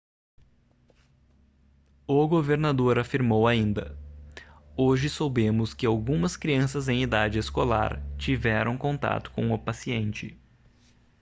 o governador afirmou ainda hoje soubemos que algumas crianças em idade escolar tiveram contato com o paciente